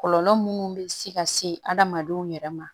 Kɔlɔlɔ munnu bɛ se ka se adamadenw yɛrɛ ma